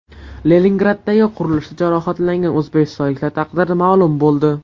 Leningraddagi qurilishda jarohatlangan o‘zbekistonliklar taqdiri ma’lum bo‘ldi.